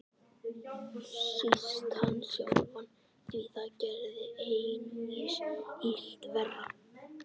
Síst hann sjálfan, því það gerði einungis illt verra.